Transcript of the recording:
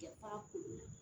Kɛ ba ko